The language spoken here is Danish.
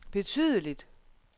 betydeligt